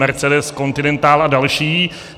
Mercedes, Continental a další.